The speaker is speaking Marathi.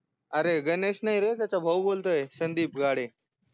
अऱे गणेश नाहीरे त्याच्या भाऊ बोलतोय संदिप गाडे